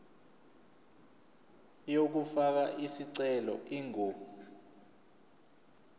yokufaka isicelo ingu